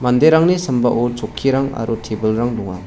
manderangni sambao chokkirang aro tebilrang donga.